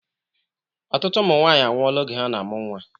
Ọtụtụ ụmụ nwanyị anwụọla oge ha na-amụ nnwa